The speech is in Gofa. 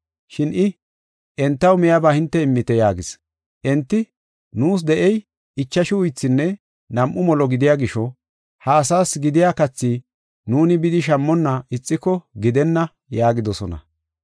Shin I, “Entaw miyaba hinte immite” yaagis. Enti, “Nuus de7ey ichashu uythinne nam7u molo gidiya gisho, ha asaas gidiya kathi nuuni bidi shammonna ixiko gidenna” yaagidosona.